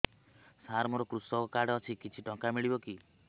ସାର ମୋର୍ କୃଷକ କାର୍ଡ ଅଛି କିଛି ଟଙ୍କା ମିଳିବ କି